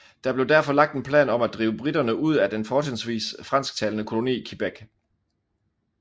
Der blev derfor lagt en plan om at drive briterne ud af den fortrinsvis fransktalende koloni Quebec